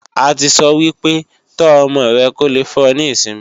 A ti sọ́ wípé, "tó ọmọ rẹ kó lè fún ọ ní ìsinmi "